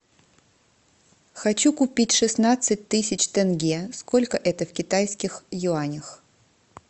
хочу купить шестнадцать тысяч тенге сколько это в китайских юанях